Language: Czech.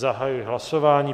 Zahajuji hlasování.